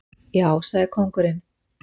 Já, sagði kóngurinn.